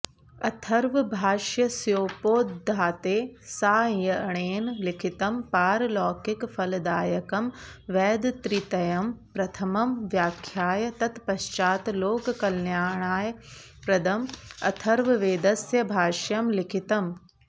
अथर्वभाष्यस्योपोद्घाते सायणेन लिखितं पारलौकिकफलदायकं वेदत्रितयं प्रथमं व्याख्याय तत्पश्चात् लोककल्याणप्रदम् अथर्ववेदस्य भाष्यं लिखितम्